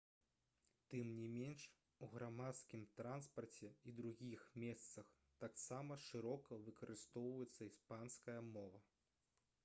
тым не менш у грамадскім транспарце і другіх месцах таксама шырока выкарыстоўваецца іспанская мова